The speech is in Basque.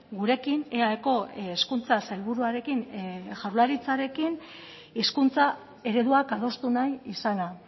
gurekin eaeko hezkuntza sailburuarekin jaurlaritzarekin hizkuntza ereduak adostu nahi izana